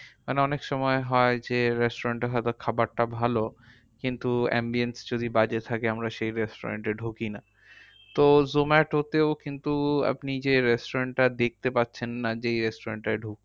মানে অনেক সময় হয় যে restaurant এ হয়তো খাবারটা ভালো কিন্তু ambience যদি বাজে থাকে আমরা সেই restaurant এ ঢুকি না। তো zomato তেও কিন্তু আপনি যে restaurant টা দেখতে পাচ্ছেন না যে এই restaurant টায় ঢুকতে,